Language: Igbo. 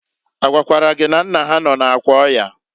A gwakwara gị na nna ha nọ n'akwa ọya?